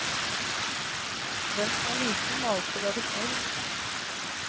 Den som er liten må alltid være snill.